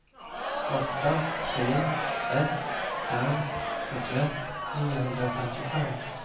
åtta tre ett fem sjuttioett niohundrafemtiofem